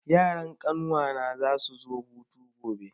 Yaran kawuna za su zo hutu gobe.